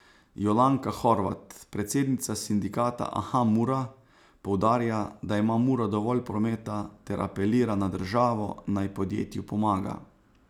Jolanka Horvat, predsednica sindikata Aha Mura, poudarja, da ima Mura dovolj prometa ter apelira na državo, naj podjetju pomaga.